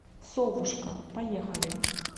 совушка поехали